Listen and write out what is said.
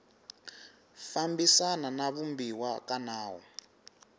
fambisana na vumbiwa ka nawu